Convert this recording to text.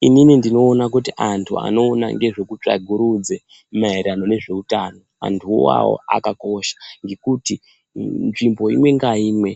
Inini ndinoona kuti antu anoona ngezvekutsvagurudze mairirano nezveutano antuwo awawo akakosha ngekuti nzvimbo imwe ngaimwe